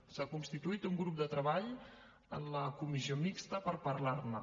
s’ha constituït un grup de treball en la comissió mixta per parlar ne